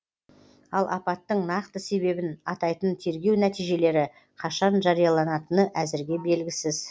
ал апаттың нақты себебін атайтын тергеу нәтижелері қашан жарияланатыны әзірге белгісіз